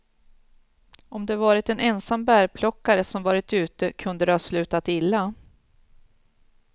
Om det varit en ensam bärplockare som varit ute kunde det ha slutat illa.